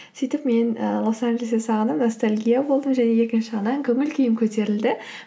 сөйтіп мен ы лос анджелесті сағынып ностальгия болдым және екінші жағынан көңіл күйім көтерілді